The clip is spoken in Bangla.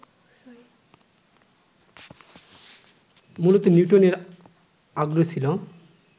মূলত নিউটনের আগ্রহ ছিল